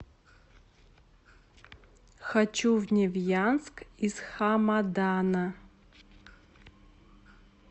хочу в невьянск из хамадана